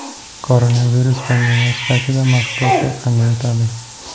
Koronavirus pandemiyasi paytida mashg‘ulotlar qanday o‘tadi?